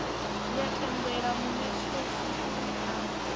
ya tendela munetshedzi uri a